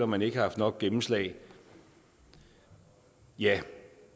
man ikke har haft nok gennemslag ja